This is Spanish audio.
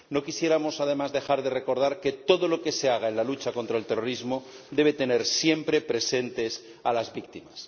No quisiéramos además dejar de recordar que todo lo que se haga en la lucha contra el terrorismo debe tener siempre presentes a las víctimas.